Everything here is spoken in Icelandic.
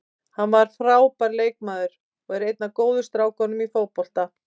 Hann var frábær leikmaður og er einn af góðu strákunum í fótboltanum.